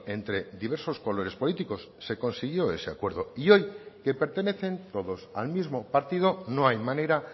entre diversos colores políticos se consiguió ese acuerdo y hoy que pertenecen todos al mismo partido no hay manera